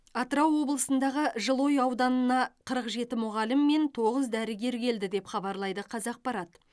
атырау облысындағы жылыой ауданына қырық жеті мұғалім мен тоғыз дәрігер келді деп хабарлайды қазақпарат